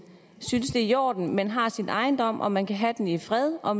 synes det er i orden at man har sin ejendom at man kan have den i fred og